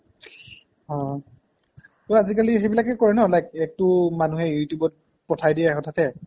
অ আজিকালি সেইবিলাকে কৰে ন like মানুহে you tube ত পঠাই দিয়ে হঠাতে